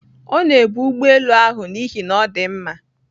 Ọ na-ebu ụgbọ elu ahụ n'ihi na ọ dị mma